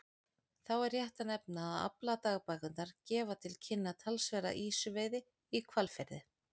Þá er rétt að nefna að afladagbækurnar gefa til kynna talsverða ýsuveiði í Hvalfirði.